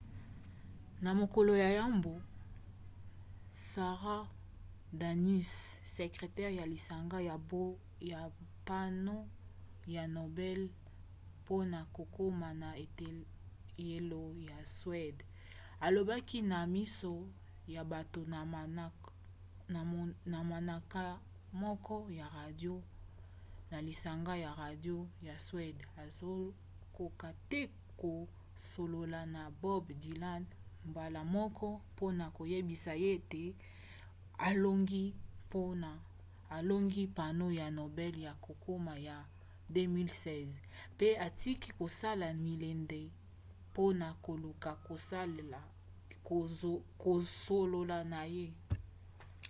na mokolo ya yambo sara danius sekretere ya lisanga ya mbano ya nobel mpona kokoma na eteyelo ya suede alobaki na miso ya bato na manaka moko ya radio na lisanga ya radio ya suede azokoka te kosolola na bob dylan mbala moko mpona koyebisa ye ete alongi mbano ya nobel ya kokoma ya 2016 mpe atiki kosala milende mpona koluka kosolola na ye